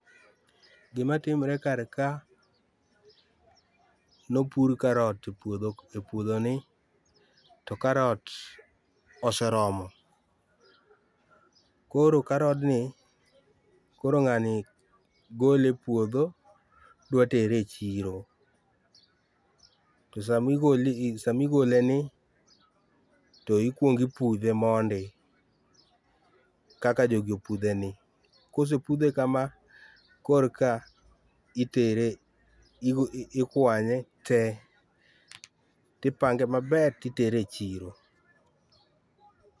Gima imre kar ka ne opudh carrot e puodhoni to carrot[cs[ oseromo, koro karod ni koro ng’ani gole e puodho dwa tere e chiro to sama igole ni to ikuong ipudhe mondi kaka jogi opudhe ni, kosepudhe kama ,korka itere, ikwanye tee tipange maber titere e chiro